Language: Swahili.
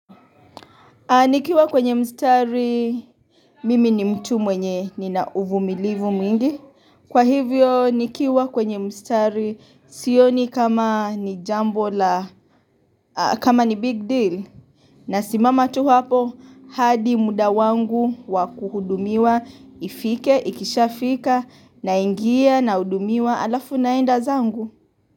Nikiwa kwenye mstari, mimi ni mtu mwenye, nina uvumilivu mingi. Kwa hivyo, nikiwa kwenye mstari, sioni kama ni jambo la kama ni big deal. Nasimama tu hapo, hadi muda wangu wakuhudumiwa, ifike, ikishafika, naingia, nahudumiwa alafu naenda zangu.